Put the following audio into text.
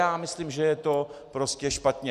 Já myslím, že je to prostě špatně!